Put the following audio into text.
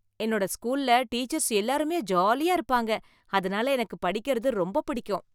என்னோட ஸ்கூல்ல டீச்சர்ஸ் எல்லாருமே ஜாலியா இருப்பாங்க அதனால எனக்கு படிக்குறது ரொம்ப பிடிக்கும்